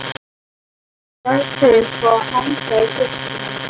Ég gafst upp á að hanga í sjoppunni.